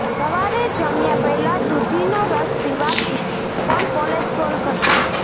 સવારે જમ્યા પહેલા દૂધીનો રસ પીવાથી પણ કોલેસ્ટ્રોલ ઘટશે